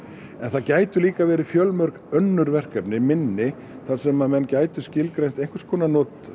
en það gætu líka verið fjölmörg önnur verkefni minni þar sem menn gætu skilgreint einhvers konar